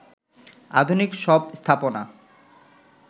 আধুনিক সব স্থাপনা